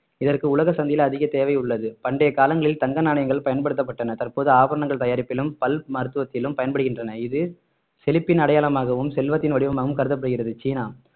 இதற்கு உலக சந்தையில் அதிக தேவை உள்ளது பண்டைய காலங்களில் தங்க நாணயங்கள் பயன்படுத்தப்பட்டன தற்போது ஆபரணங்கள் தயாரிப்பிலும் பல் மருத்துவத்திலும் பயன்படுகின்றன இது செழிப்பின் அடையாளமாகவும் செல்வத்தின் வடிவமாகவும் கருதப்படுகிறது சீனா